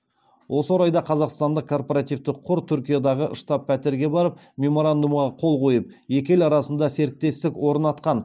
осы орайда қазақстандық корпоративтік қор түркиядағы штаб пәтерге барып меморандумға қол қойып екі ел арасында серіктестік орнатқан